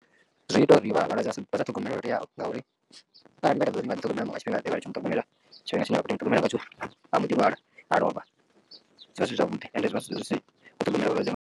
Zwi ita uri vhalwadze vhasa ṱhogomelwe lwo teaho ngauri arali vha nga ḓi ṱhogomela nga tshifhinga ḓe vha litsho muṱhogomela tshifhinga tshine vha khou tea umu ṱhogomela ngatsho a mboḓi lwala a lovha zwi vha zwi si zwavhuḓi and zwi vha zwi si u ṱhogomela vhalwadze nga.